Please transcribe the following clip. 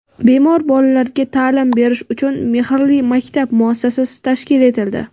Bemor bolalarga ta’lim berish uchun "Mehrli maktab" muassasasi tashkil etildi.